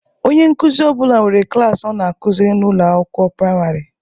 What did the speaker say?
Onye nkuzi ọ bụla nwere klaasị ọ na-akuziri na ụlọ akwụkwọ praịmarị.